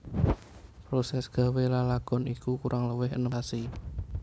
Prosès gawé lalagon iku kurang luwih enem sasi